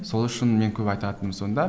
сол үшін мен көп айтатыным сонда